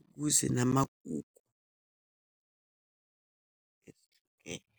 ukuze namagugu ehlukene.